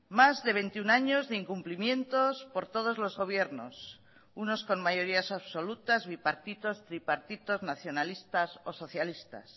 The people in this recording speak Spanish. más de veintiuno años de incumplimientos por todos los gobiernos unos con mayorías absolutas bipartitos tripartitos nacionalistas o socialistas